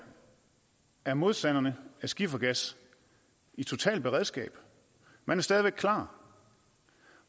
er modstanderne af skifergas i totalt beredskab man er stadig klar